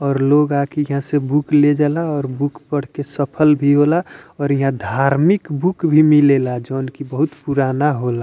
और लोग आके यहां से बुक ले जाला और बुक पढ़ के सफल भी होला और यहां धार्मिक बुक भी मिलेला जोन की बहुत पुराना होला।